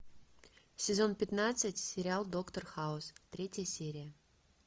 сезон пятнадцать сериал доктор хаус третья серия